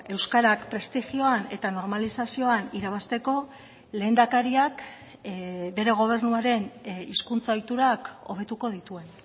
euskarak prestigioan eta normalizazioan irabazteko lehendakariak bere gobernuaren hizkuntza ohiturak hobetuko dituen